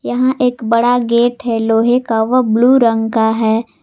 यहां एक बड़ा गेट है लोहे का वह ब्लू रंग का है।